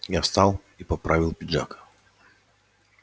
я встал и поправил пиджак